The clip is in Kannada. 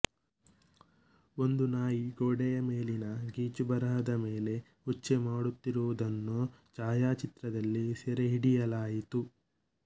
ಒಂದು ನಾಯಿ ಗೋಡೆಯ ಮೇಲಿನ ಗೀಚುಬರಹದ ಮೇಲೆ ಉಚ್ಚೆ ಮಾಡುತ್ತಿರುವುದನ್ನು ಛಾಯಾಚಿತ್ರದಲ್ಲಿ ಸೆರೆಹಿಡಿಯಲಾಯಿತು